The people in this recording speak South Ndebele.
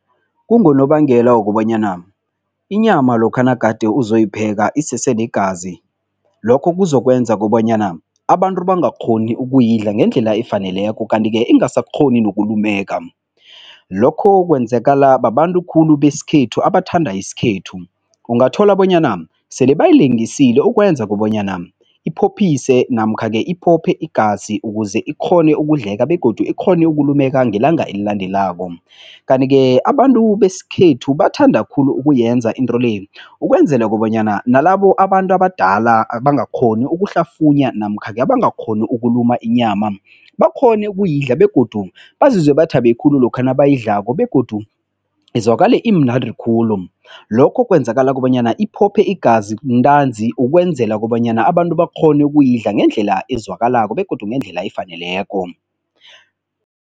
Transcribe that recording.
Kungonobangela wokobanyana inyama lokha nagade uzoyipheka isesenegazi, lokho kuzokwenza kobanyana abantu bangakghoni ukuyidla ngendlela efaneleko kanti-ke ingasakghoni nokulumeka. Lokho kwenzekala babantu khulu besikhethu abathanda isikhethu. Ungathola bonyana sele bayilengisile ukwenza kobanyana iphophise namkha-ke iphophe igazi ukuze ikghone ukudleka begodu ikghone ukulumeka ngelanga elilandelako. Kanti-ke abantu besikhethu bathanda khulu ukuyenza into le, ukwenzela bonyana nalabo abantu abadala abangakghoni ukuhlafunyana namkha-ke abangakghoni ukuluma inyama bakghone ukuyidla begodu bazizwe bathabe khulu lokha nabayidlako begodu izwakale imnandi khulu. Lokho kwenzekala kobanyana iphophe igazi ntanzi ukwenzela kobanyana abantu bakghone ukuyidla ngendlela ezwakalako begodu ngendlela efaneleko.